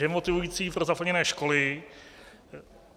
Demotivující pro zaplněné školy.